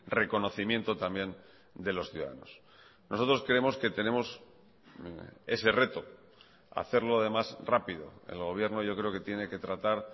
reconocimiento también de los ciudadanos nosotros creemos que tenemos ese reto hacerlo además rápido el gobierno yo creo que tiene que tratar